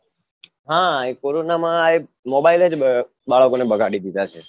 હા એ કોરોનામાં આ એક mobile જ બાળકો ને બગાડી દીધા છે